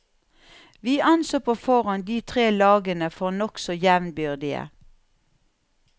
Vi anså på forhånd de tre lagene for nokså jevnbyrdige.